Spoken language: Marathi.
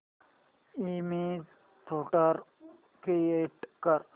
इमेज फोल्डर क्रिएट कर